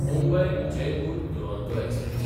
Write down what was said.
Mumbai Jaipur Duronto express